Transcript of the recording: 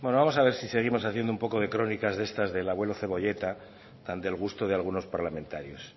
bueno vamos a ver si seguimos haciendo un poco de crónicas de estas del abuelo cebolleta tan del gusto de algunos parlamentarios